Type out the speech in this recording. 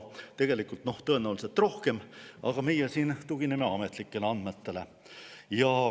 Tõenäoliselt tegelikult rohkem, aga meie tugineme ametlikele andmetele.